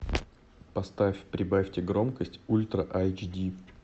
поставь прибавьте громкость ультра айч ди